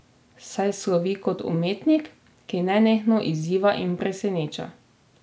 Saj slovi kot umetnik, ki nenehno izziva in preseneča.